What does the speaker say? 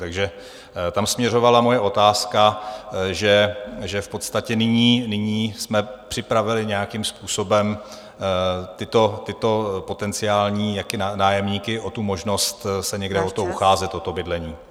Takže tam směřovala moje otázka, že v podstatě nyní jsme připravili nějakým způsobem tyto potenciální nájemníky o tu možnost se někde o to ucházet, o to bydlení.